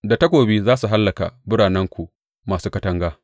Da takobi za su hallaka biranenku masu katanga.